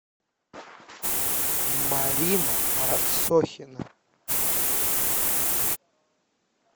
марина рассохина